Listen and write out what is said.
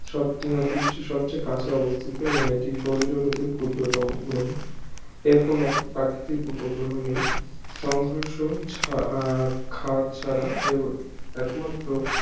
সবথেকে সূর্যের সবচেয়ে কাছে অবস্থিত এবং এটি সৌরজগতের ক্ষুদ্রতম গ্রহ এর কোন প্রাকৃতিক উপগ্রহ নেই সংঘর্ষ ছা আহ খাদ ছাড়া এর একমাত্র